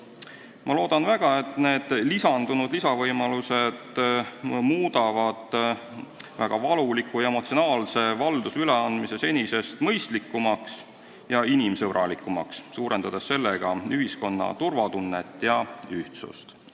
Ma loodan väga, et need lisandunud võimalused muudavad vahel väga valuliku ja emotsionaalse valduse üleandmise senisest mõistlikumaks ja inimsõbralikumaks, suurendades sellega ühiskonna turvatunnet ja ühtsust.